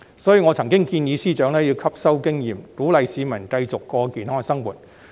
所以，我曾建議財政司司長吸收經驗，鼓勵市民繼續過健康生活。